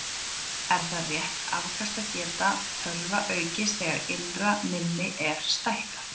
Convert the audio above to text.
Er það rétt að afkastageta tölva aukist þegar innra minni er stækkað?